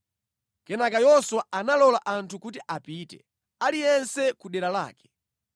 Kenaka Yoswa analola anthu kuti apite, aliyense ku dera lake.